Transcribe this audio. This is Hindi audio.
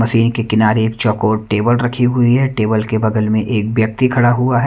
मशीन के किनारे एक चौकोट टेबल रखी हुई है टेबल के बगल में एक व्यक्ति खड़ा हुआ है।